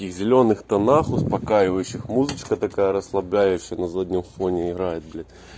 и в зелёных тонах успокаивающих музычка такая расслабляющая на заднем фоне играет блять